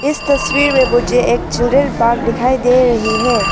इस तस्वीर में मुझे एक चिल्ड्रेन पार्क दिखाई दे रही है।